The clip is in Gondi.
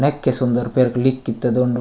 नेके सुंदर पैर लिकत डोंडू।